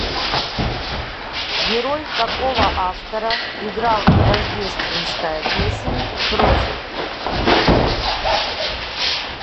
герой какого автора играл рождественская песнь в прозе